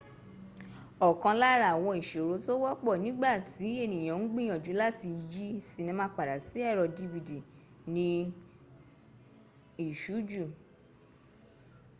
òkan lára àwọn ìṣòro tó wọ́pọ̀ nígbà tí ènìyàn ń gbìyànjú láti yí sinima padà sí èrò dvd ni ìṣújù